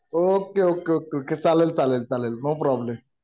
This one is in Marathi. ओके ओके ओके चालेल चालेल चालेल नो प्रॉब्लेम